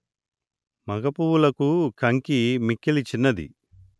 మగ పువ్వుల కంకి మిక్కిలి చిన్నది